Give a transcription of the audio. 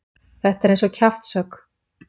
Þetta er eins og kjaftshögg.